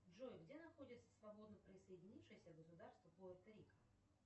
джой где находится свободно присоединившееся государство пуэрто рико